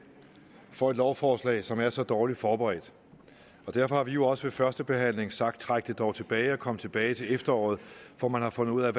får et lovforslag som er så dårligt forberedt og derfor har vi jo også ved førstebehandlingen sagt træk det dog tilbage og kom tilbage til efteråret når man har fundet ud af